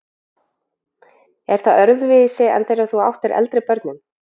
Er það öðruvísi en þegar þú áttir eldri börnin?